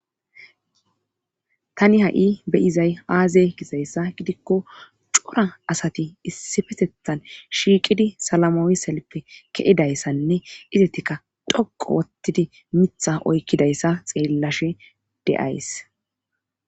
tani ha7i beyizay aaze gizayssa gidikko cora asati issifesethan shiiqidi salamooi selppe ke7idayssanne izatikka dhoqu wottidi mitha oykkidayssa xeellashe deays